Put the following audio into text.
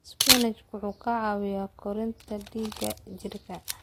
Isbaanishku wuxuu ka caawiyaa kordhinta dhiigga jidhka.